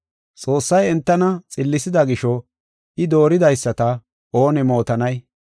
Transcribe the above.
Xoossay entana xillisida gisho I dooridaysata oone mootanay?